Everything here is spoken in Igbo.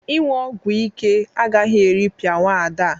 Ịñụ ogwo ike agaghị eripịa nwaada a.